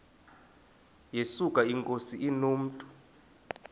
yesuka inkosi inomntu